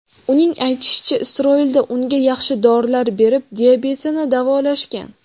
Uning aytishicha, Isroilda unga yaxshi dorilar berib, diabetini davolashgan.